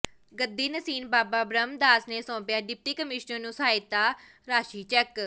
ਗੱਦੀ ਨਸੀਨ ਬਾਬਾ ਬ੍ਰਹਮ ਦਾਸ ਨੇ ਸੌਂਪਿਆ ਡਿਪਟੀ ਕਮਿਸ਼ਨਰ ਨੂੰ ਸਹਾਇਤਾ ਰਾਸ਼ੀ ਚੈੱਕ